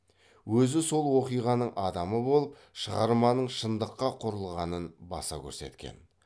өзі сол оқиғаның адамы бол шығарманың шындыққа кұрылғанын баса көрсеткен